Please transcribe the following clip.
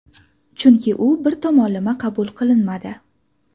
Chunki u bir tomonlama qabul qilinmadi.